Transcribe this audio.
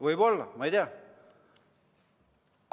Võib-olla, ma ei tea.